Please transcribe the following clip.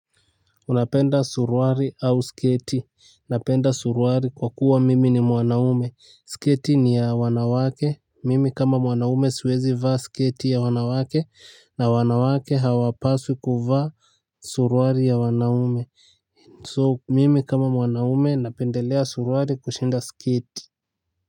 Unapenda suruari au sketi. Napenda suruari kwa kuwa mimi ni mwanaume. Sketi ni ya wanawake. Mimi kama mwanaume siwezi vaa sketi ya wanawake na wanawake hawapaswi kuvaa suruari ya wanaume. So mimi kama mwanaume napendelea suruari kushinda sketi.